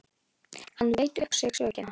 Hann veit upp á sig sökina.